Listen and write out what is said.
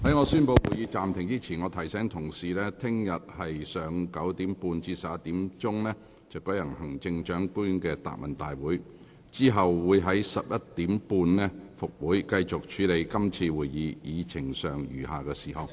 在我宣布會議暫停前，我提醒議員，本會明天上午9時30分至11時將會舉行行政長官答問會，然後將於上午11時30分恢復會議，繼續處理今次會議議程上餘下的事項。